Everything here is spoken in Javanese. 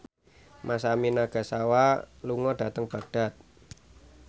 Masami Nagasawa lunga dhateng Baghdad